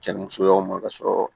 Cɛnnimusoyaw ma ka sɔrɔ